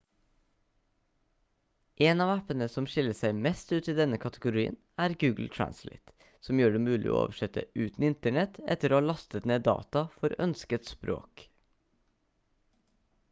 en av appene som skiller seg mest ut i denne kategorien er google translate som gjør det mulig å oversette uten internett etter å ha lastet ned data for ønsket språk